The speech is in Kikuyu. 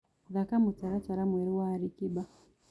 thaka mũtaratara mwerũ wa Ali kiba